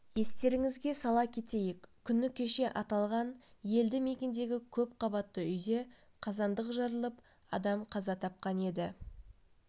естеріңізге сала кетейік күні кеше аталған елді мекендегі көпқабатты үйде қазандық жарылып адам қаза тапқан еді